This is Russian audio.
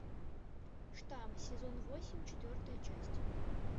штамм сезон восемь четвертая часть